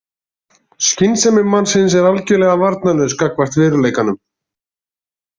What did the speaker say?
Skynsemi mannsins er algjörlega varnarlaus gagnvart veruleikanum.